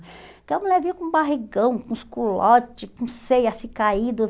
Porque a mulher vinha com o barrigão, com os culotes, com seio assim caído.